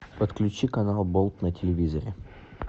подключи канал болт на телевизоре